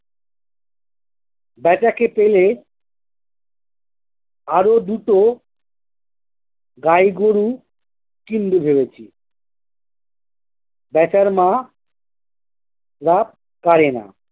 বেচাকে পেলে আরো দুটো গাই গরু কিনবো ভেবেছি। বেচার মা লাভ করে না